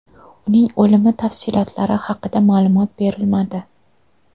Uning o‘limi tafsilotlari haqida ma’lumot berilmadi.